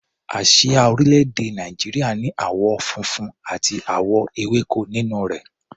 Àsíá orílẹ̀-èdè Nàìjíríà ní àwọ̀ funfun àti àwọ̀ ewéko nínú rẹ̀.